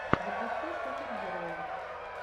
запусти супергероев